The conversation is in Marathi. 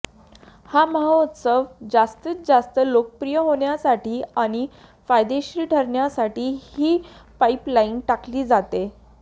हा महोत्सव जास्तीत जास्त लोकप्रिय होण्यासाठी आणि फायदेशीर ठरण्यासाठी ही पाईपलाईन टाकली जातेय